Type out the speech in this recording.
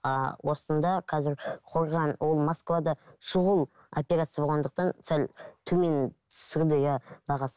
а осында қазір қорған ол москвада шұғыл операция болғандықтан сәл төмен түсірді иә бағасын